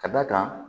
Ka d'a kan